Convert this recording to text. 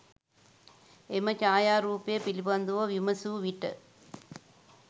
එම ඡායාරූපය පිළිබඳව විමසූ විට